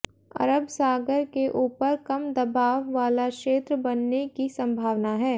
अरब सागर के ऊपर कम दबाव वाला क्षेत्र बनने की संभावना है